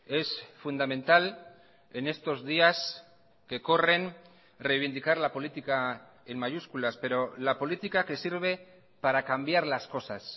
es fundamental en estos días que corren reivindicar la política en mayúsculas pero la política que sirve para cambiar las cosas